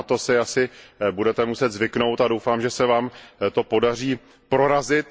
Na to si asi budete muset zvyknout a doufám, že se Vám to podaří prorazit.